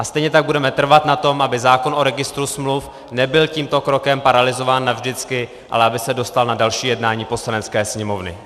A stejně tak budeme trvat na tom, aby zákon o registru smluv nebyl tímto krokem paralyzován navždycky, ale aby se dostal na další jednání Poslanecké sněmovny.